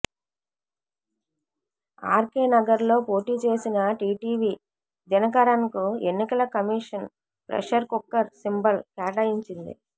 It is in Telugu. ఆర్ కే నగర్ లో పోటీ చేసిన టీటీవీ దినకరన్ కు ఎన్నికల కమిషన్ ప్రెషర్ కుక్కర్ సింబల్ కేటాయించింది